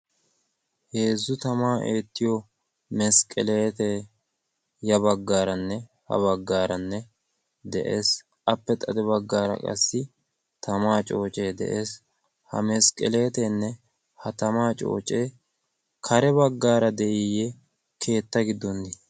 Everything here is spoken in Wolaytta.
heezzu tama eettiyo masqqeleetee ya baggaaranne ha baggaaranne de'ees appe xade baggaara qassi tamaa coocee de'ees ha masqqeleeteenne ha tamaa coocee kare baggaara de"iyye keetta giddon di